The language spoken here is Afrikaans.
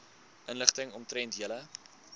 inligting omtrent julle